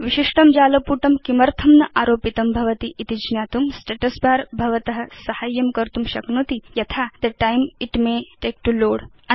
विशिष्टं जालपुटं किमर्थं न आरोपितं भवति इति ज्ञातुं स्टेटस् बर भवत साहाय्यं कर्तुं शक्नोति यथा the time it may take to load